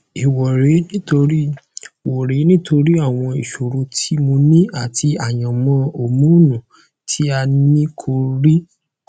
ẹ wo rẹ nítorí wo rẹ nítorí àwọn ìṣòro tí mo ní àti àyànmọn hórmónu tí a nìkò rí